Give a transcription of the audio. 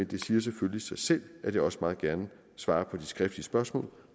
det siger selvfølgelig sig selv at jeg også meget gerne svarer på de skriftlige spørgsmål